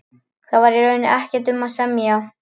Þar var í rauninni ekkert um að semja.